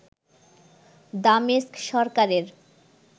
দামেস্ক সরকারের